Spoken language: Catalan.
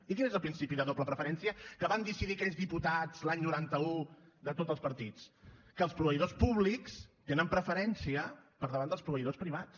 i quin és el principi de doble preferència que van decidir aquells diputats l’any noranta un de tot els partits que els proveïdors públics tenen preferència per davant dels proveïdors privats